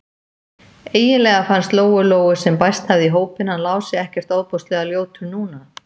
Eiginlega fannst Lóu-Lóu, sem bæst hafði í hópinn, hann Lási ekkert ofboðslega ljótur núna.